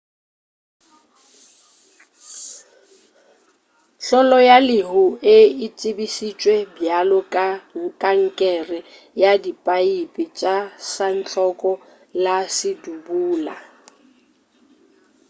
hlolo ya lehu e tsebešitšwe bjalo ka kankere ya diphaepe tša santlhoko le sebudula.